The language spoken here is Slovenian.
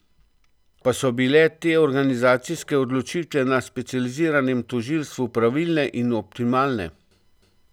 Pa so bile te organizacijske odločitve na specializiranem tožilstvu pravilne in optimalne?